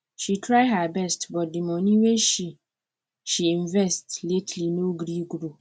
she try her best but the money wey she she invest lately no gree grow